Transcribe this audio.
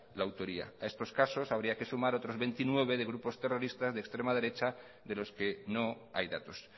la autoría a estos casos habría que sumar otros veintinueve de grupos terroristas de extrema derecha de los que no hay datos